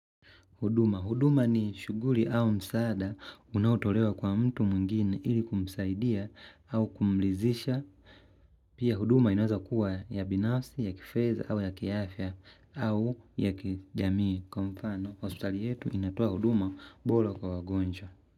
Huduma. Huduma ni shuguli au msaada unaotolewa kwa mtu mwingini ili kumsaidia au kumlizisha. Pia huduma inaweza kuwa ya binafsi, ya kifedha au ya kiafya au ya kijamii. Kwa mfano, Australia yetu inatoa huduma bola kwa wagonjwa.